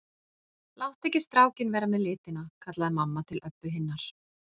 Láttu ekki strákinn vera með litina, kallaði mamma til Öbbu hinnar.